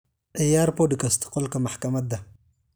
ciyaar podcast qolka maxkamada